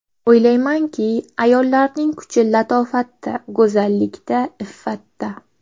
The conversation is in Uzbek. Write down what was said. O‘ylaymanki, ayollarning kuchi latofatda, go‘zallikda, iffatda.